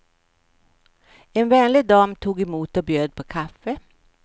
En vänlig dam tog emot och bjöd på kaffe.